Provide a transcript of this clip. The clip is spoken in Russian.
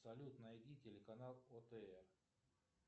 салют найди телеканал отр